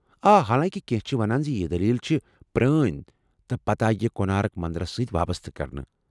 آ، حالانٛکہ کینٛہہ چھِ مانان زِ ، یہ دلیل چھِ پرٛٲنۍ تہٕ پتہٕ آیہِ یہ کونارک مندرس سۭتۍ وابسطہٕ كرنہٕ ۔